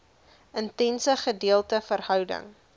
intense gedeelde verhouding